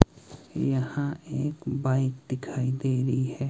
यहां एक बाइक दिखाई दे रही है।